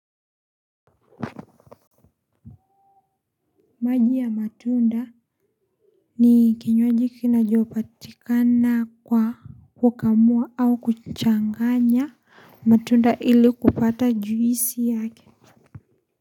Maji ya matunda ni kinywaji kinachopatikana kwa kukamua au kuchanganya matunda ili kupata juisi yake.